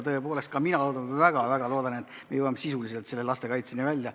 Tõepoolest ka mina väga-väga loodan, et me jõuame sisuliselt selle lastekaitseni välja.